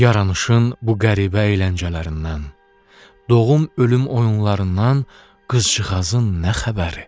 Yaranışın bu qəribə əyləncələrindən, doğum-ölüm oyunlarından qızcığazın nə xəbəri?